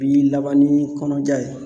Bi laban ni kɔnɔja ye.